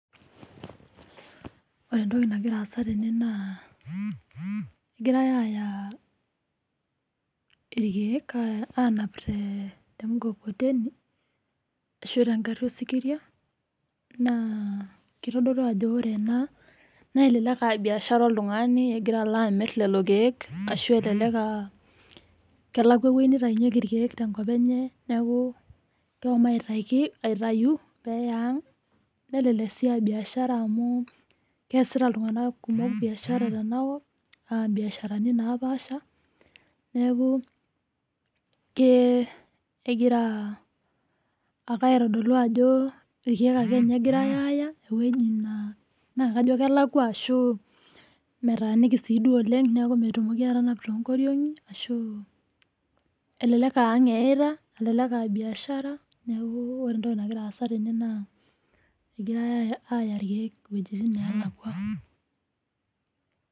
Ore entoki nagira aasa tene naa egirae aaya irkeek, aanap te mukokoteni ashuu te ngarri osikiria naa kitodolu ajo elelek aa biashara oltung'ani egira alo amirr lelo keek, ashuu elelek as kelakuwa ewueji neitaunyeki irkeek te nkop enye neeku kehomo aitayu peeya ang nelelek sii as biashara amuu keesita iltung'ana biaashara oleng tenakop mbiasharani, naapasha, neeku kegira aitodolu ajo irkeek ake ninye egirai aaya naakajo kelakuwa eneyeita naa kelakuwa tenenap too nkoriong'i, elelek aa ang' eeyeita nelelek aabiashara kake kitodolu ake ninye ajo egirai aaya irkeek iwuejitin neelakua.